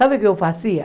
Sabe o que eu fazia?